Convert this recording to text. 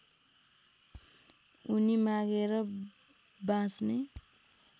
उनी मागेर बाँच्ने